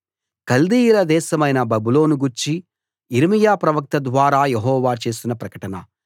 కల్దీయుల దేశమైన బబులోనును గూర్చి యిర్మీయా ప్రవక్త ద్వారా యెహోవా చేసిన ప్రకటన